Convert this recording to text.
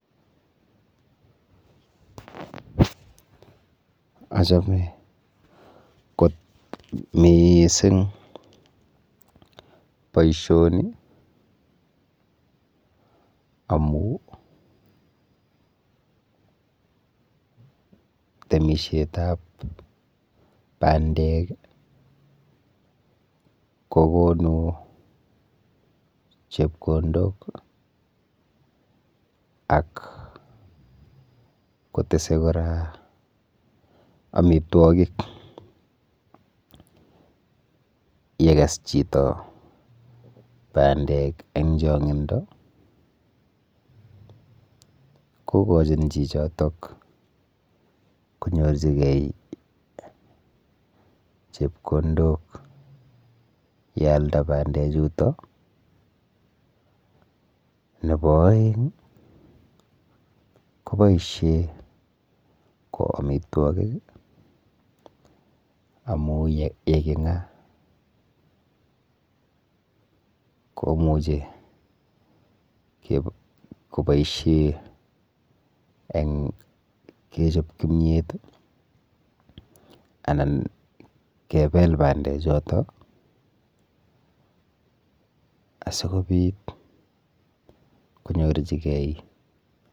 Achome kot miising boishoni amu temishetap bandek kokonu chepkondok ak kotese kora amitwokik yekes chito bandek eng chong'indo kokochin chichotok konyor chepkondok yealda bandechuto, nepo oeng koboishe ko amitwokik amu yeking'a komuchi koboishe eng kechop kimiet anan kepel bandechoto asikobit konyorchigei...